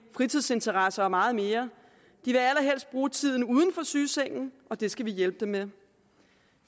fritidsinteresser og meget mere de vil allerhelst bruge tiden uden for sygesengen og det skal vi hjælpe dem med